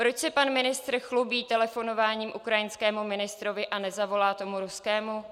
Proč se pan ministr chlubí telefonováním ukrajinskému ministrovi a nezavolá tomu ruskému?